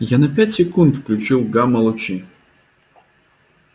я на пять секунд включил гамма-лучи